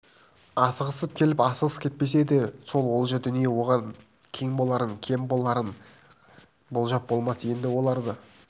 асығыс келіп асығыс кетпесе сол олжа дүние оған кең боларын кем боларын болжап болмас енді оларды